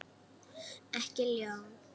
Ekki ljón.